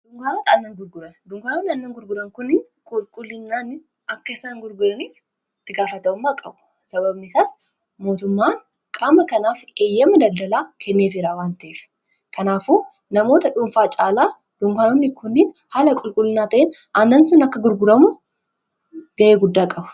duunkaanonni annan gurguran kunniin qulqullinaan akka isaan gurguraniif tigaafata'ummaa qabu sababisaas mootummaan qaama kanaaf eeyyama daldalaa kenneef iraa wanta'ef kanaafu namoota dhuunfaa caalaa dunkaanoonni kunniin haala qulqullinnaa ta'in annan sun akka gurguramu ga'ee guddaa qabu